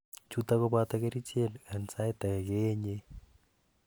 chuton koboto kerichek an sait agei keyenyei